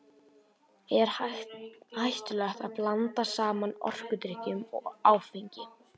Er hættulegt að blanda saman orkudrykkjum og áfengi?